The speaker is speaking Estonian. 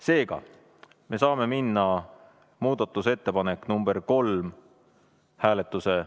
Seega, me saame minna muudatusettepaneku number kolm hääletuse ...